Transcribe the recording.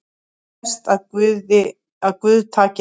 Best að guð taki hann